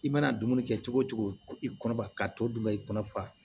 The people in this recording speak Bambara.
I mana dumuni kɛ cogo o cogo i kɔnɔba ka tɔ dun bɛ kɔnɔ fa